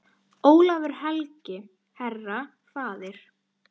Ólafur helgi, herra, faðir.